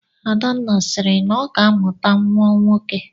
Adanne sịrị na ọ ga-amụta nnwa nwoke